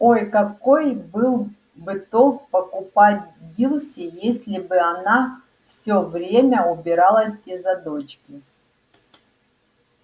ой какой был бы толк покупать дилси если бы она всё время убиралась из-за дочки